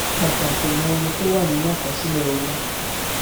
pàtàkì mọ iye tí ó wà nínú àkosílẹ owó